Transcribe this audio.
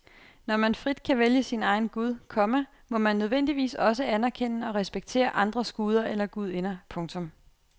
Når man frit kan vælge sin egen gud, komma må man nødvendigvis også anerkende og respektere andres guder eller gudinder. punktum